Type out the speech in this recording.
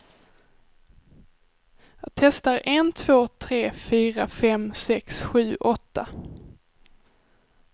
Testar en två tre fyra fem sex sju åtta.